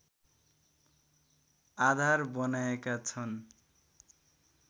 आधार बनाएका छन्